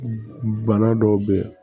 Bana dɔw be ye